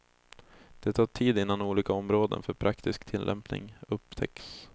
Det tar tid innan olika områden för praktisk tillämpning upptäcks.